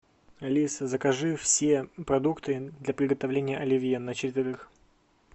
алиса закажи все продукты для приготовления оливье на четверых